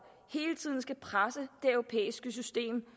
hele tiden skal presse det europæiske system